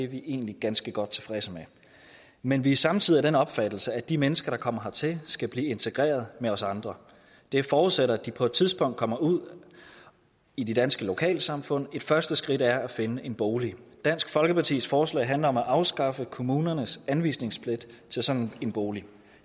vi egentlig ganske godt tilfredse med men vi er samtidig af den opfattelse at de mennesker der kommer hertil skal blive integreret med os andre det forudsætter at de på et tidspunkt kommer ud i de danske lokalsamfund og et første skridt er at finde en bolig dansk folkepartis forslag handler om at afskaffe kommunernes anvise sådan en bolig